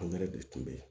Angɛrɛ de tun be yen